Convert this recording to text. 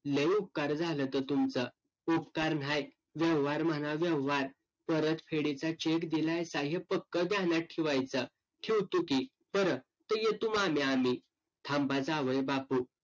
लय उपकार झालंत तुमचं. उपकार न्हाय, व्यवहार म्हणा व्यवहार. परतफेडीचा cheque दिलायसा हे पक्कं ध्यानात ठिवायचं, ठिवतो की. बर, तर येतो मामी आमी. थांबा जावयबापू.